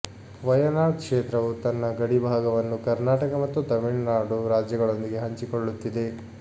ವಯನಾಡ್ ಕ್ಷೇತ್ರವು ತನ್ನ ಗಡಿಭಾಗವನ್ನು ಕರ್ನಾಟಕ ಮತ್ತು ತಮಿಳುನಾಡು ರಾಜ್ಯಗಳೊಂದಿಗೆ ಹಂಚಿಕೊಳ್ಳುತ್ತಿದೆ